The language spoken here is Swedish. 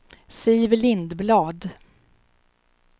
Siv Lindblad